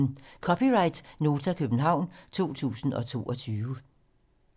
(c) Nota, København 2022